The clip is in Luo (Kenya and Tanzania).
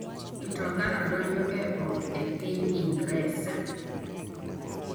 Mtokano ‘donjo’ e ot e piny Ingresa